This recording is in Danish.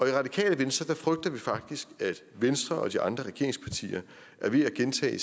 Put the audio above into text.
i radikale venstre frygter vi faktisk at venstre og de andre regeringspartier er ved at gentage